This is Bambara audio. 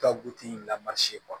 Ka guwɛti lamarisi bɔ